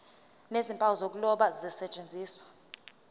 nezimpawu zokuloba kusetshenziswe